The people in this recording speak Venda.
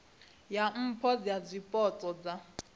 ya mpho dza zwipotso dza